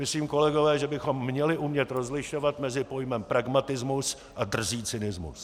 Myslím, kolegové, že bychom měli umět rozlišovat mezi pojmem pragmatismus a drzý cynismus.